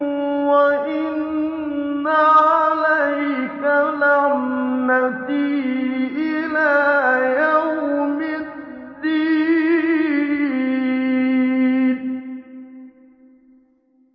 وَإِنَّ عَلَيْكَ لَعْنَتِي إِلَىٰ يَوْمِ الدِّينِ